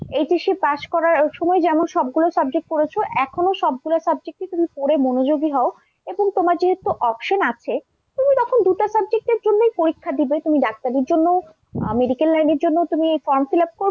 HSCpass করার সময় যেমন সবগুলো subject পড়েছো, এখনও সবগুলো subject ই পড়ে মনোযোগী হও এবং তোমার যেহেতু option আছে তুমি তখন দুটা subject এর জন্যই পরীক্ষা দিবে। তুমি ডাক্তারির জন্যও medical line এর জন্যও তুমি form fill up করবে।